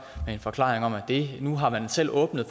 med en forklaring om at nu har man selv åbnet